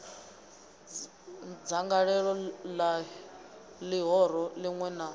dzangalelo la lihoro linwe na